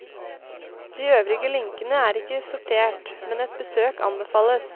De øvrige linkene er ikke sortert, men et besøk anbefales.